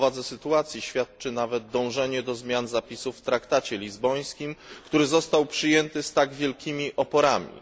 O powadze sytuacji świadczy nawet dążenie do zmian zapisów w traktacie lizbońskim, który został przyjęty z tak wielkimi oporami.